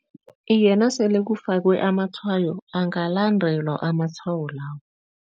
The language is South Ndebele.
Iye, nasele kufakwe amatshwayo, angalandelwa amatshwayo lawo.